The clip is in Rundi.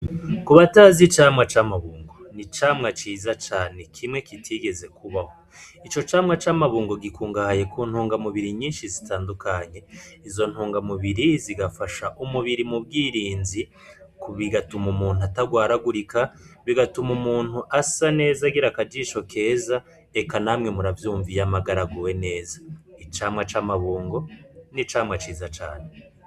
Ku batazi icamwa c'amabungo ni camwa ciza cane kimwe kitigeze kubaho ico camwa c'amabungo gikungahaye ku ntungamubiri nyinshi zitandukanye izo ntungamubiri zigafasha umubiri mu bwirinzi ku bigatuma umuntu atarwaragurika bigatuma umuntu asa neza agira akajisho keza eka namwe uravyumva iyo amagara aguwe neza. icamwa c'amabungo n'icamwa ciza cane.